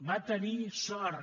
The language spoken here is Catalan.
va tenir sort